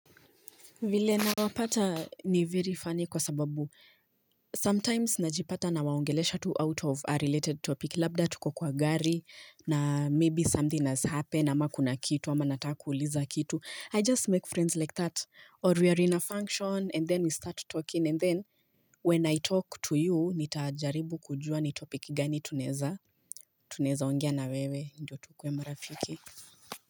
Vile na wapata ni very funy kwa sababu Sometimes najipata nawaongelesha tu out of a related topic Labda tuko kwa gari na maybe something has happened ama kuna kitu ama nata kuuliza kitu I just make friends like that Or we are in a function and then we start talking and then When I talk to you, nitajaribu kujua ni topic gani tunaeza Tunaeza ongea na wewe, ndio tukuwe marafiki.